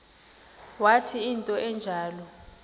wathi into enjalo